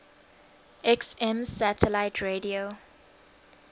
xm satellite radio